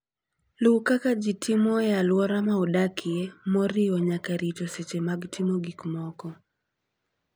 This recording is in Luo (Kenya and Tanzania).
Luw kaka ji timo e alwora ma udakie, moriwo nyaka rito seche mag timo gik moko.